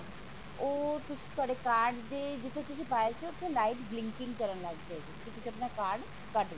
ਉਹ ਤੁਹਾਡੇ card ਦੇ ਜਿੱਥੇ ਤੁਸੀਂ ਪਾਇਆ ਸੀ ਉੱਥੇ light blinking ਕਰਨ ਲੱਗ ਜਾਏਗੀ ਕਿ ਤੁਸੀਂ ਆਪਣਾ card ਕੱਢ ਲੋ